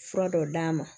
Fura dɔ d'a ma